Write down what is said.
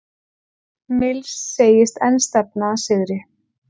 Mills segist enn stefna að sigri